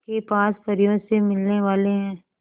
के पास परियों से मिलने वाले हैं